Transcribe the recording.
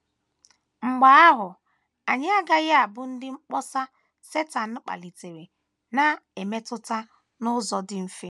Mgbe ahụ, anyị agaghị abụ ndị mkpọsa Setan kpalitere na - emetụta n’ụzọ dị mfe.